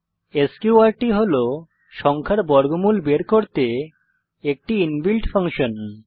স্ক্যুর্ট হল সংখ্যার বর্গমূল বের করতে একটি ইনবিল্ট ফাংশন